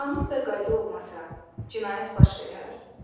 Qanun və qayda olmasa, cinayət baş verər?